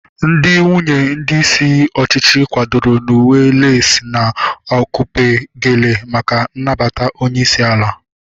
Ndị nwunye ndị isi ọchịchị kwadoro n'uwe leesi na akupe geele maka nnabata onyeisi ala